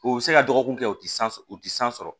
U bɛ se ka dɔgɔkun kɛ o tɛ san u ti san sɔrɔ